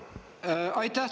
Aitäh!